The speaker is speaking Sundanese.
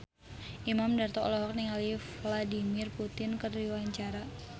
Imam Darto olohok ningali Vladimir Putin keur diwawancara